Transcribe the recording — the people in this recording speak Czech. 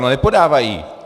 No nepodávají.